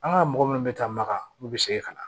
An ka mɔgɔ minnu bɛ taa maka olu bɛ segin ka na